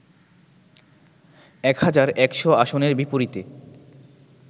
১ হাজার ১০০ আসনের বিপরীতে